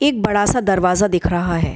एक बड़ा सा दरवाजा दिख रहा है।